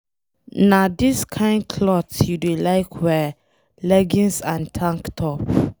Na this kin cloth you dey like wear, leggings and tank top.